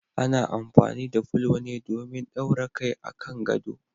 Ana amfani da fulo ne domin daura kai a kan gado.